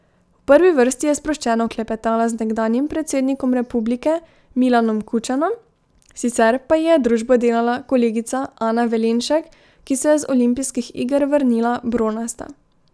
V prvi vrsti je sproščeno klepetala z nekdanjim predsednikom republike Milanom Kučanom, sicer pa ji je družbo delala kolegica Ana Velenšek, ki se je z olimpijskih iger vrnila bronasta.